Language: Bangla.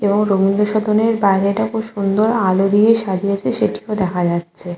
এবং রবীন্দ্র সদনের বাইরেটা ও খুব সুন্দর আলো দিয়ে সাজিয়েছে সেটিও দেখা যাচ্ছে।